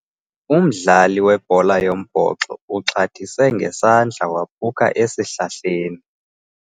Umdlali webhola yombhoxo uxhathise ngesandla waphuka esihlahleni.